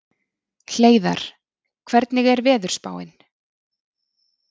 Hleiðar, hvernig er veðurspáin?